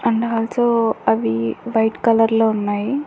And also అవి white colour లో ఉన్నాయి.